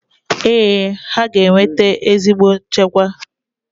Ee, ha ga-eweta ezigbo njikwa.